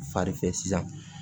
Farifɛ sisan